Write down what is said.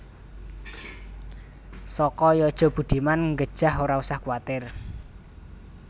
Soko Yojo Budiman nggejah ora usah kuatir